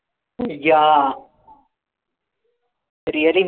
yaa really